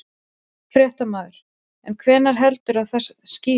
Fréttamaður: En hvenær heldurðu að það skýrist?